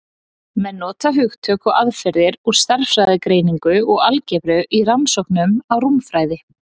menn nota hugtök og aðferðir úr stærðfræðigreiningu og algebru í rannsóknum á rúmfræði